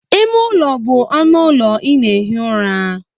Ime ụlọ bụ ọnụ ụlọ ị na-ehi ụra.